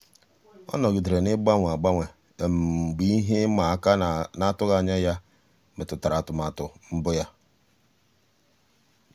ọ́ nọ́gídèrè n’ị́gbànwé ágbànwé mgbe ihe ịma aka na-atụghị anya ya métụ́tárà atụmatụ mbụ ya.